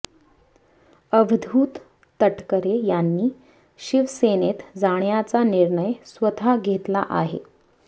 अवधूत तटकरे यांनी शिवसेनेत जाण्याचा निर्णय स्वतः घेतला आहे